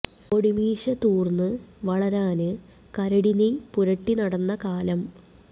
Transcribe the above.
പൊടിമീശ തൂര്ന്നു വളരാന് കരടി നെയ്യ് പുരട്ടി നടന്ന കാലം